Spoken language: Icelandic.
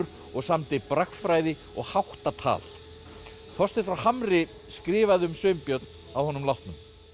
og samdi bragfræði og háttatal Þorsteinn frá Hamri skrifaði um Sveinbjörn að honum látnum